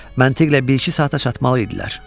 Məntiqlə bir-iki saata çatmalı idilər.